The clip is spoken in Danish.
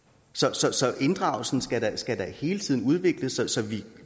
så så inddragelsen skal skal da hele tiden udvikles så vi